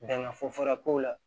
Danga fɔra ko la